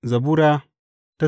Zabura Sura